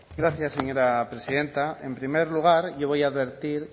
gracias señora presidenta en primer lugar yo voy a advertir